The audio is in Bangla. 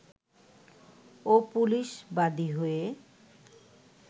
ও পুলিশ বাদী হয়ে